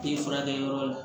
Te furakɛ yɔrɔ la